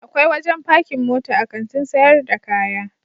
Akwai wajen pakin mota a Kantin sayar da kaya.